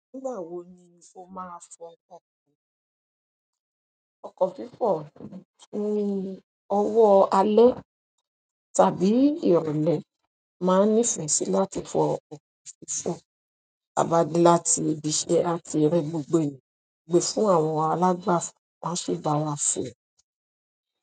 Nígbà wo ni o maa fo ọkọ̀ fífọ̀ ní ọwọ́ alẹ́ tàbí ìrọ̀lẹ́ mo máa n nìfẹ́ sì láti fọ ọkọ̀ fífọ̀ tàa ba de láti ibíṣe àti rẹ gbogbo eeyan aa gbé fún àwọn alàgbàfọ̀ won a si bá wa fẹ́.